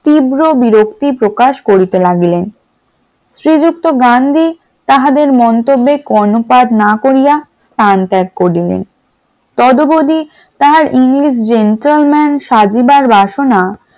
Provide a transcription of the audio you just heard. তীব্র বিরক্তির প্রকাশ করিতে লাগলেন শ্রীযুক্ত গান্ধী তাহাদের মন্তব্যে কর্ণপাত না করিয়া স্থান ত্যাগ করিলেন । তদো বদি তাহার english gentleman সাজিবার বাসনা